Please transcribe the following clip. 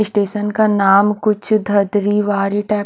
station का नाम कुछ धदरी वार्य टाइप --